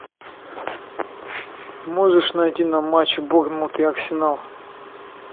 можешь найти нам матч борнмут и арсенал